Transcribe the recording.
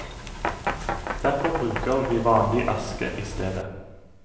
Derfor bruker vi vanlig aske i stedet.